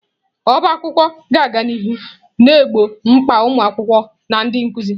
Ọbá akwụkwọ ga-aga n'ihu na-egbo mkpa ụmụ akwụkwọ na ndị nkuzi